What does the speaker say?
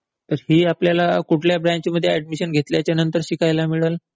तर ही आपल्याला कुठल्या ब्रँचमध्ये ऍडमिशन घेतल्याच्या नंतर शिकायला मिळेल?